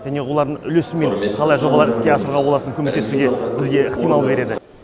және олардың үлесімен қалай жобалар іске асыруға болатын көмектесуге бізге ықтимал береді